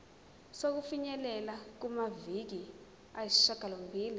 sokufinyelela kumaviki ayisishagalombili